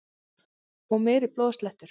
Og meiri blóðslettur!